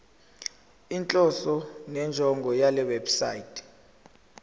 inhloso nenjongo yalewebsite